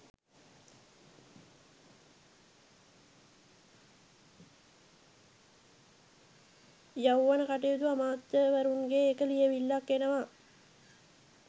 යෞවන කටයුතු අමාත්‍යවරුන්ගේ එක ලියවිල්ලක් එනවා.